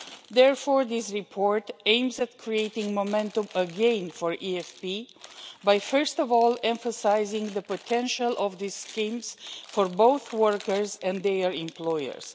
Therefore this report aims at creating momentum again for EFP by, first of all, emphasising the potential of these schemes for both workers and their employers.